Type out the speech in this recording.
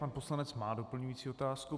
Pan poslanec má doplňující otázku.